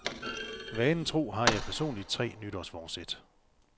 Vanen tro har jeg personligt tre nytårsforsæt.